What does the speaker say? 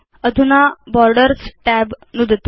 अधुना borders tab नुदतु